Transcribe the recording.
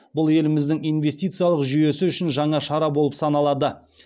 бұл еліміздің инвестициялық жүйесі үшін жаңа шара болып саналады